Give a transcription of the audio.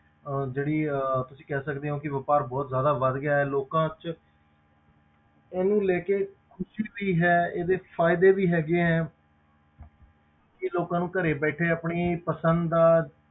ਅਹ ਜਿਹੜੀ ਅਹ ਤੁਸੀਂ ਕਹਿ ਸਕਦੇ ਹੋ ਕਿ ਵਾਪਾਰ ਬਹੁਤ ਜ਼ਿਆਦਾ ਵੱਧ ਗਿਆ ਹੈ ਲੋਕਾਂ ਵਿੱਚ ਇਹਨੂੰ ਲੈ ਕੇ ਖ਼ੁਸ਼ੀ ਵੀ ਹੈ ਇਹਦੇ ਫ਼ਾਇਦੇ ਵੀ ਹੈਗੇ ਹੈ ਕਿ ਲੋਕਾਂ ਨੂੰ ਘਰੇ ਬੈਠੇ ਆਪਣੀ ਪਸੰਦ ਦਾ,